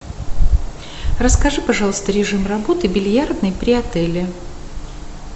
расскажи пожалуйста режим работы бильярдной при отеле